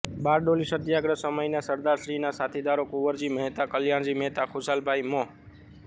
બારડોલી સત્યાગ્રહ સમયના સરદારશ્રીના સાથીદારો કુવરજી મહેતા કલ્યાણજી મહેતા ખુશાલભાઈ મો